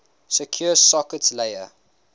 secure sockets layer